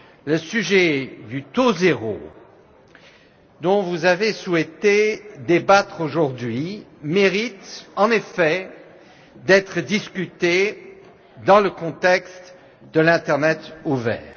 La question du taux zéro, dont vous avez souhaité débattre aujourd'hui, mérite en effet d'être abordée dans le contexte de l'internet ouvert.